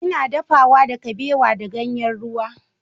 Ina dafawa da kabewa da ganyen ruwa.